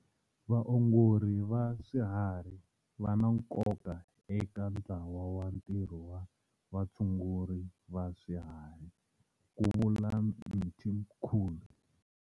Vaongori va swiharhi va na nkoka eka ntlawa wa ntirho wa vatshunguri va swiharhi, ku vula Mthimkhulu.